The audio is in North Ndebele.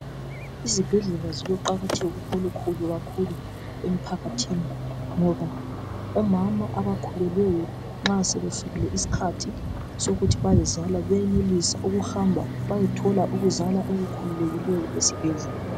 Izibhedlela ziloqakatheko olukhulu kakhulu emphakathini ngoba omama abakhulelweyo, sebefikile isikhhathi sokuthi bayezala. Bayahamba bayethola ukuzaka okukhululekileyo esibhedlela.